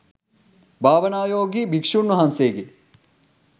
භාවනානුයෝගී භික්ෂූන් වහන්සේගේ